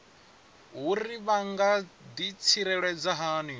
uri vha nga ḓitsireledza hani